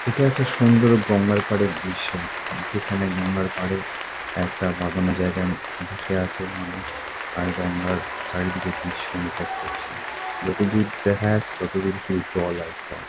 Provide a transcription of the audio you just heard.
এটা একটা সুন্দর গঙ্গার পাড়ের দৃশ্য যেখানে গঙ্গার পাড়ে একটা বাঁধানো জায়গায় বসে আছে মানুষ আর গঙ্গার চারিদিকের দৃশ্য অনুভব করছে। যতদূর দেখা যাচ্ছে ততদূর শুধু জল আর জল।